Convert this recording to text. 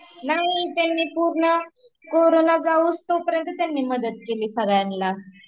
नाही, त्यांनी पूर्ण करोंना जाउस्तो पर्यन्त त्यांनी मदत केली सगळ्यांना